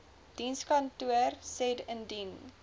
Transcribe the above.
dienskantoor said indien